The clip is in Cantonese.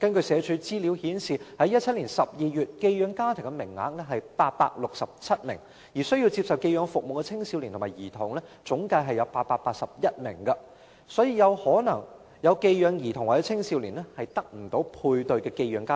社署的資料顯示，截至2017年12月，寄養家庭的名額為867個，而需要接受寄養服務的青少年及兒童共有881名，所以一些需要寄養服務的兒童或青少年可能無法配對寄養家庭。